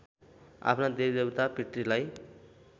आफ्ना देवीदेवता पितृलाई